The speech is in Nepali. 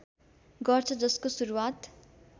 गर्छ जसको सुरुवात